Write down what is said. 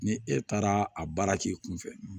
Ni e taara a baara k'i kunfɛ